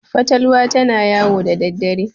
fatalwa tana yawo da daddare